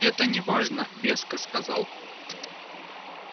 это не важно веско сказал он